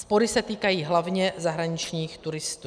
Spory se týkají hlavně zahraničních turistů.